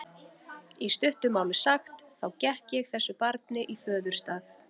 Í stuttu máli sagt, þá gekk ég þessu barni í föðurstað.